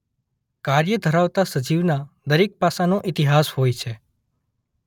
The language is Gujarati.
કાર્ય ધરાવતા સજીવના દરેક પાસાનો ઇતિહાસ હોય છે.